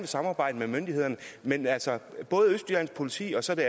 samarbejde med myndighederne men altså både østjyllands politi og så det